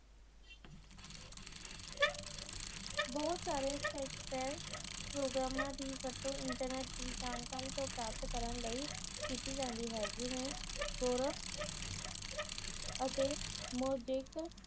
ਬਹੁਤ ਸਾਰੇ ਹੈ ਪ੍ਰੋਗਰਾਮਾਂ ਦੀ ਵਰਤੋਂ ਇੰਟਰਨੇਟ ਦੀ ਤੋਂ ਪ੍ਰਾਪਤ ਕਰਨ ਲਈ ਕੀਤੀ ਜਾਂਦੀ ਹੈ ਜਿਵੇ ਅਤੇ